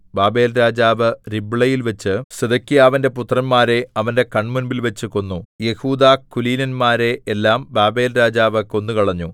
ബാബേൽരാജാവ് രിബ്ളയിൽവച്ച് സിദെക്കീയാവിന്റെ പുത്രന്മാരെ അവന്റെ കണ്മുമ്പിൽ വച്ചു കൊന്നു യെഹൂദാകുലീനന്മാരെ എല്ലാം ബാബേൽരാജാവ് കൊന്നുകളഞ്ഞു